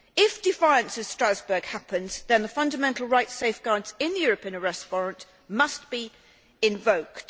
If defiance of Strasbourg happens, then the fundamental rights safeguards in the European arrest warrant must be invoked.